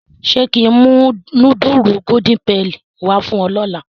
Ṣé kí n mú nudulu Golden Penny wá fún ọ lọ́la?